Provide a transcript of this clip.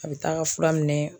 A bi taa ka fura minɛ